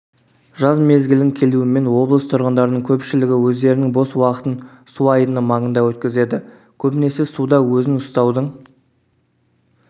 жаз мезгілінің келуімен облыс тұрғындарының көпшілігі өздерінің бос уақытын суайдыны маңында өткізеді көбінесе суда өзін ұстаудың